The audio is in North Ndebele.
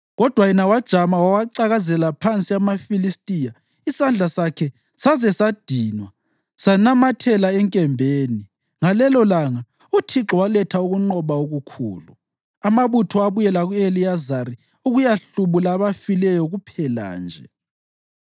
kodwa yena wajama wawacakazela phansi amaFilistiya isandla sakhe saze sadinwa sanamathela enkembeni. Ngalelolanga uThixo waletha ukunqoba okukhulu. Amabutho abuyela ku-Eleyazari ukuyahlubula abafileyo kuphela nje.